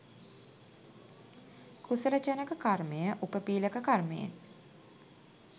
කුසල ජනක කර්මය උපපීළක කර්මයෙන්